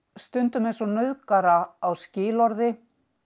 stundum eins og nauðgara á skilorði